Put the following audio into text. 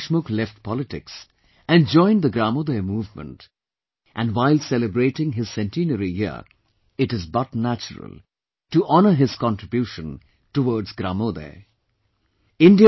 Nanaji Deshmukh left politics and joined the Gramodaya Movement and while celebrating his Centenary year, it is but natural to honour his contribution towards Gramodaya